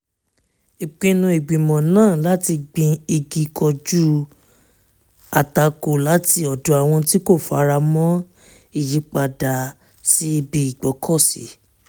ìpinnu ìgbìmọ̀ náà láti gbin igi kojú àtakò láti ọ̀dọ̀ àwọn tí kò fara mọ́ ìyípadà sí ibi ìgbọ́kọ̀sí